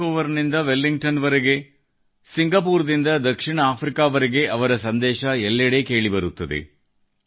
Vancouver ನಿಂದ Wellington ವರೆಗೆ Singapore ದಿಂದ ದಕ್ಷಿಣ ಆಫ್ರಿಕಾವರೆಗೆ ಅವರ ಸಂದೇಶ ಎಲ್ಲೆಡೆ ಕೇಳಿಬರುತ್ತದೆ